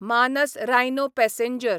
मानस रायनो पॅसेंजर